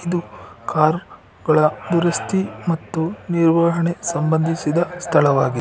Car ಗಳ ದುರಸ್ತಿ ಮತ್ತು ನಿರ್ವಹಣೆ ಸಂಬಂಧಿಸಿದ ಸ್ಥಳವಾಗಿದೆ.